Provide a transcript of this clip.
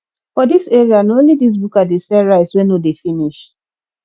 for dis area na only dis buka dey sell rice wey no dey finish